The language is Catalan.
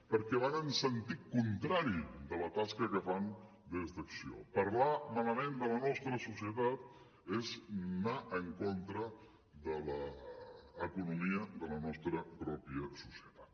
perquè van en sentit contrari de la tasca que fan des d’acció parlar malament de la nostra societat és anar en contra de l’economia de la nostra pròpia societat